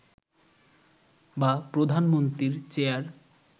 বা প্রধানমন্ত্রীর চেয়ার